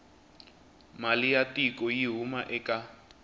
mali ya tiko yi huma eka